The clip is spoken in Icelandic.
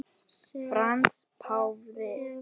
Frans páfi